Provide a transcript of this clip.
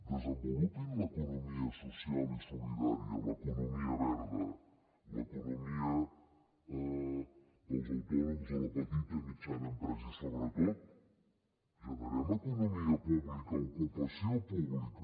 desenvolupin l’economia social i solidària l’economia verda l’economia dels autònoms de la petita i mitjana empresa i sobretot generem economia pública ocupació pública